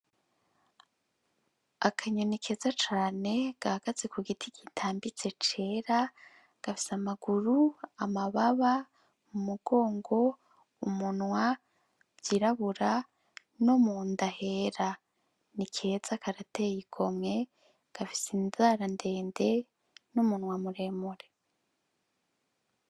Akanyoni keza cane gahagaze ku giti kitambitse cera gafise amaguru amababa mu mugongo umunwa vyirabura no mu ndahera ni keza karatey ikomwe gafise inzarandenge n'umunu wamuremore.